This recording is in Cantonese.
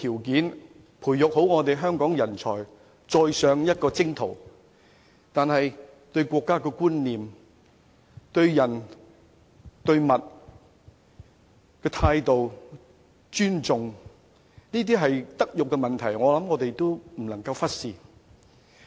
如何培育年輕一代對國家的觀念，對人、對事的正確態度和尊重，這些都是德育問題，我們不能忽視。